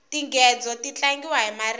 tinghedzo ti tlangiwa hi maribye